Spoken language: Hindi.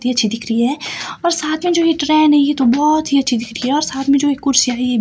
दी अच्छी दिख रही है और साथ में जो ये ट्रेन है ये तो बहोत ही अच्छी दिख रही है और साथ में जो एक कुर्सियां है।